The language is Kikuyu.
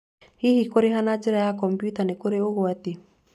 Hihi kũrĩha na njĩra ya kompiuta nĩ kũrĩ ũgwati?